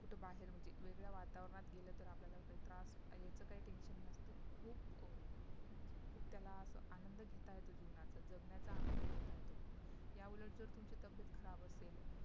कुठे बाहेर म्हणजे वेगळ्या वातावरणात गेल तर आपल्याला काही त्रास यायचं काही TENSION नसत खूप अं त्याला असं आनंद घेता येतो जीवनाचं जगण्याचं आनंद घेता येतो याउलट जर तुमचं तब्येत खराब असेल